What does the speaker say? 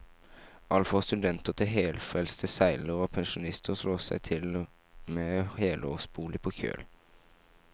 Alt fra studenter til helfrelste seilere og pensjonister slår seg til med helårsbolig på kjøl.